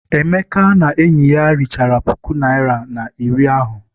Emeka na enyi ya richara puku naịra na iri ahụ.